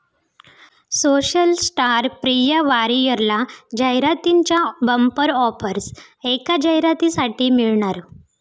social star Priya वारियरला जाहिरातींच्या bumper offers, एका जाहिरातीसाठी मिळणार...